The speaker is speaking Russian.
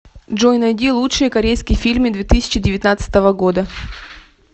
джой найди лучшие корейские фильмы две тысячи девятнадцатого года